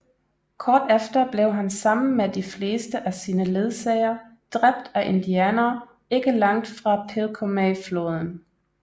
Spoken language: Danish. Kort efter blev han sammen med de fleste af sine ledsagere dræbt af indianere ikke langt fra Pilcomayofloden